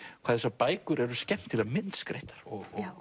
hvað þessar bækur eru skemmtilega myndskreyttar og